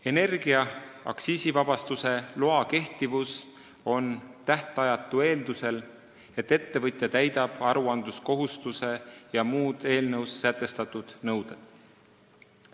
Energia aktsiisivabastuse luba on tähtajatu eeldusel, et ettevõtja täidab aruandluskohustuse ja muud eelnõus sätestatud nõuded.